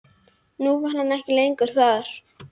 Nú var hann ekki lengur þar.